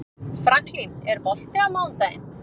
Franklin, er bolti á mánudaginn?